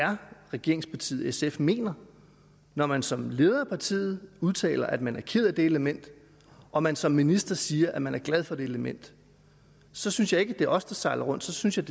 er regeringspartiet sf mener når man som leder af partiet udtaler at man er ked af det element og man som minister siger at man er glad for det element så synes jeg ikke det er os der sejler rundt så synes jeg